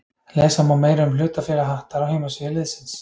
Lesa má meira um hlutafélag Hattar á heimasíðu liðsins.